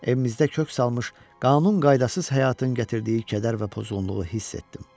Evimizdə kök salmış, qanun qaydasız həyatın gətirdiyi kədər və pozğunluğu hiss etdim.